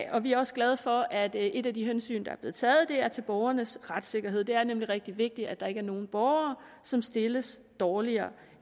og vi er også glade for at et af de hensyn der er blevet taget er til borgernes retssikkerhed det er nemlig rigtig vigtigt at der ikke er nogle borgere som stilles dårligere